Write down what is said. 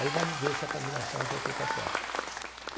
Aí vamos ver se a combinação aí foi feita certa.